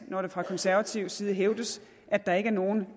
når det fra konservativ side hævdes at der ikke er nogen